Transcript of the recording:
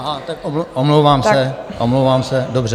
Aha, tak omlouvám se, omlouvám se, dobře.